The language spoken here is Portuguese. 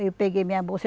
Aí eu peguei minha bolsa.